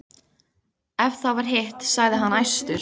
Ef það var hitt, sagði hann æstur: